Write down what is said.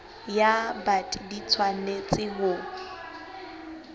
ya bt di tshwanetse ho